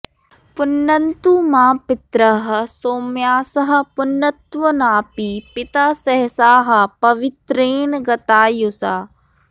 पुनन्तु मा पितरः सौम्यासः पुनन्त्वनापि पिता सहसाः पवित्रेण गतायुषा